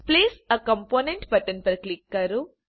place એ component button પર click કરો